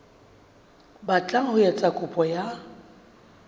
batlang ho etsa kopo ya